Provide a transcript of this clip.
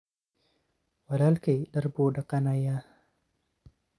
Walalkey dhaar buu dhaganaya.